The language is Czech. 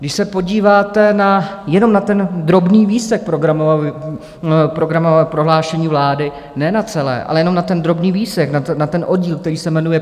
Když se podíváte jenom na ten drobný výsek programového prohlášení vlády, ne na celé, ale jenom na ten drobný výsek, na ten oddíl, který se jmenuje